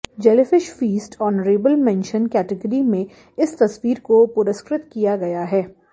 jellyfish feast honourable mention category में इस तस्वीर को पुरस्कृत किया गया है